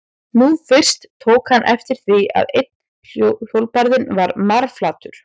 Nú fyrst tók hann eftir því að einn hjólbarðinn var marflatur.